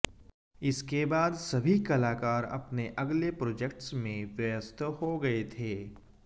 इसके बाद सभी कलाकार अपने अगले प्रोजेक्ट्स में व्यस्त हो गए थे